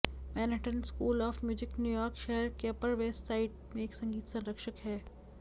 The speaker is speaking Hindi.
Manhattan school of music New York शहर के अपर वेस्ट साइड में एक संगीत संरक्षक है